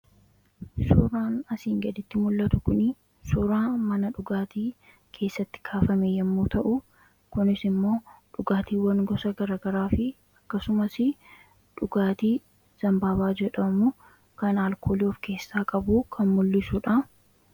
Suuraan asiin gaditti mul'atu kuni suuraa mana dhugaatii keessatti kaafame yommuu ta'u, kunis immoo dhugaatiiwwan gosa garagaraa fi akkasumasii dhugaatii Zambaabaa jedhamu kan alkoolii of keessaa qabu kan mul'isuudha.